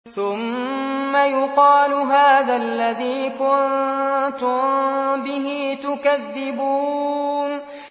ثُمَّ يُقَالُ هَٰذَا الَّذِي كُنتُم بِهِ تُكَذِّبُونَ